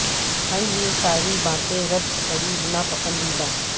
ہیں یہ ساری باتیں رب کے قریب نا پسندیدہ